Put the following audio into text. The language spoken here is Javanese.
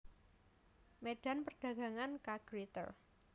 Medan Perdagangan K Gritter